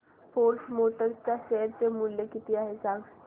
force Motors च्या share चे मूल्य किती आहे सांगा